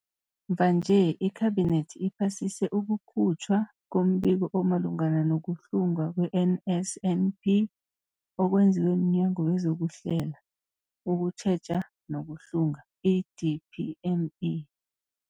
Mvanje, iKhabinethi iphasise ukukhutjhwa kombiko omalungana nokuhlungwa kwe-NSNP okwenziwe mNyango wezokuHlela, ukuTjheja nokuHlunga, i-DPME.